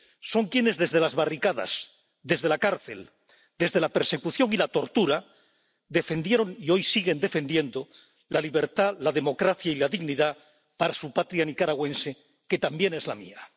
son quienes, desde las barricadas, desde la cárcel, desde la persecución y la tortura, defendieron y hoy siguen defendiendo la libertad, la democracia y la dignidad para su patria nicaragüense, que también es la mía.